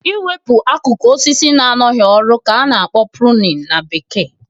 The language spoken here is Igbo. I wepụ akụkụ osisi na-anọghị ọrụ ka a na-akpọ "pruning" na bekee